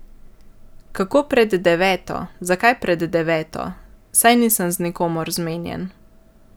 Kako pred deveto, zakaj pred deveto, saj nisem z nikomer zmenjen?